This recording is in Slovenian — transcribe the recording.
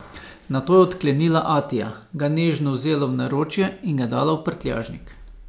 Nato je odklenila Atija, ga nežno vzela v naročje in ga dala v prtljažnik.